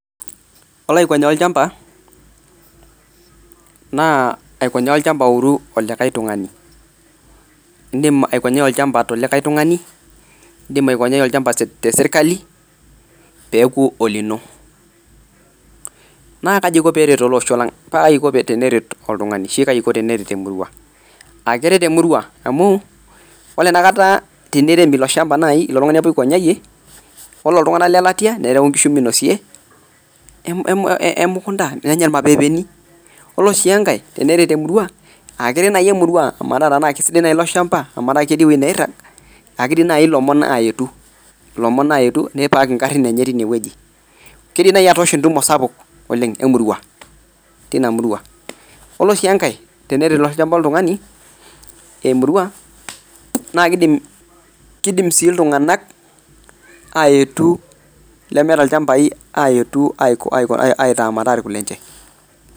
Ore aikonyaa olchamba naa ikonyaa olchamba ouru olikae tungani. Indim aikonyai olchamba tolikae tungani, indim aokonyai olchamba te sirkali peaku olino. Naa kaji eiko peeret ale osho lang? paa kaji eiko teneret oltungani ashu eiko teneret emurua. Keret emurua amuu ore enakat tenerem ilo ilshamba ale tungani apa oikonyaiye, ore ltungana le latia nerau nkishu meinosie emukunta nenya mapeepeni. Ore sii enkae teneret emurua, ekeret naai emerua metaa na keisidai naa ilo ilshamba, mataa keti ewueji nairag ,aa keidim nai ilomon aetu, lomon aetu neipaak ingarrin enye teineweji. Keidim nai atoosho entumo sapuk oleng emurrua teina murua. Ore sii enkae teneret ilo ilshamba oltungani, emurua naa keidim sii iltunganak aetu lemeeta ilchambai aetu aitaa metaa lkulenche.